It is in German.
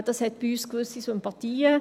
Das hat bei uns auch gewisse Sympathien.